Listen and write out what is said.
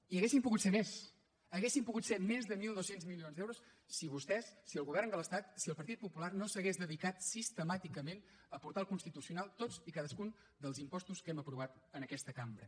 i haurien pogut ser més haurien pogut ser més de mil dos cents milions d’euros si vostès si el govern de l’estat si el partit popular no s’hagués dedicat sistemàticament a portar al constitucional tots i cadascun dels impostos que hem aprovat en aquesta cambra